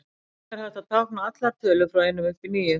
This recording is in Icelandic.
Þannig er hægt að tákna allar tölur frá einum upp í níu.